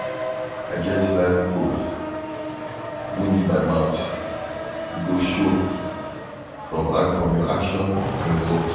I get life goal no be by mouth, e go show from your action and result